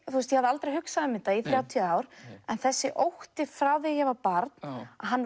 aldrei hugsað um þetta í þrjátíu ár en þessi ótti frá því ég var barn hann